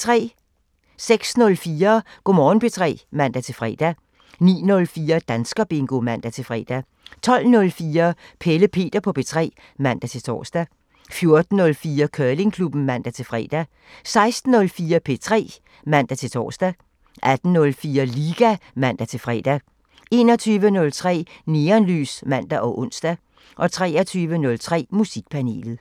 06:04: Go' Morgen P3 (man-fre) 09:04: Danskerbingo (man-fre) 12:04: Pelle Peter på P3 (man-tor) 14:04: Curlingklubben (man-fre) 16:04: P3 (man-tor) 18:04: Liga (man-fre) 21:03: Neonlys (man og ons) 23:03: Musikpanelet